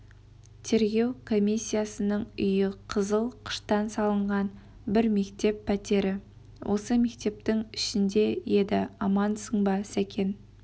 тергеу комиссиясының үйі қызыл қыштан салынған бір мектеп пәтері осы мектептің ішінде еді амансың ба сәкен